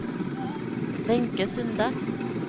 Wenche Sunde